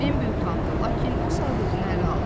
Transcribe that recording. Bimbi utandı, lakin o saat özünü ələ aldı.